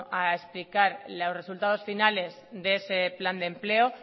a explicar los resultados finales de ese plan de empleo